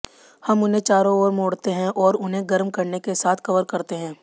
हम उन्हें चारों ओर मोड़ते हैं और उन्हें गर्म करने के साथ कवर करते हैं